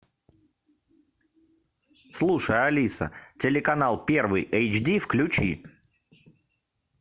слушай алиса телеканал первый эйч ди включи